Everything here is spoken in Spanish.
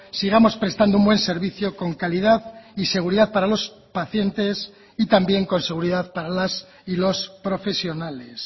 sigamos prestando un buen servicio con calidad y seguridad para los pacientes y también con seguridad para las y los profesionales